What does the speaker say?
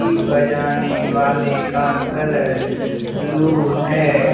बजाने वाले का कलर ब्लू है।